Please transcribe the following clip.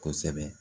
Kosɛbɛ